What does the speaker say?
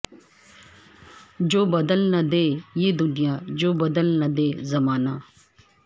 جو بدل نہ دے یہ دنیا جو بدل نہ دے زمانہ